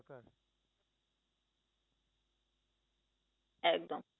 একদম